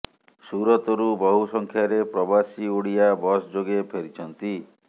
ସୁରତରୁ ବହୁ ସଂଖ୍ୟାରେ ପ୍ରବାସୀ ଓଡିଆ ବସ ଯୋଗେ ଫେରିଛନ୍ତି